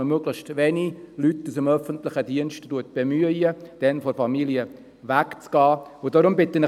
Man sollte möglichst wenige Leute aus dem öffentlichen Dienst bemühen, die Familie zu verlassen.